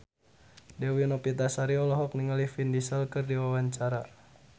Dewi Novitasari olohok ningali Vin Diesel keur diwawancara